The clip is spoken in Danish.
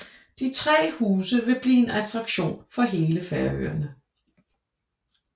De tre huse vil blive en attraktion for hele Færøerne